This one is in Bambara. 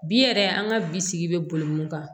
Bi yɛrɛ an ka bisigi bɛ boli min kan